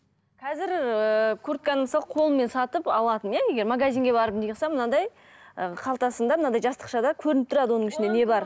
қазір ііі куртканы мысалы қолмен сатып алатын иә егер магазинге барып неғылсам мынандай ы қалтасында мынандай жастықшада көрініп тұрады оның ішінде не бар